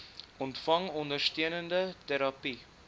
ontvang ondersteunende terapie